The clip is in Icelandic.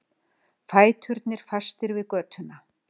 Fæturnir fastir við götuna.